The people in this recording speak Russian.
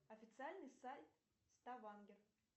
официальный сайт ставангер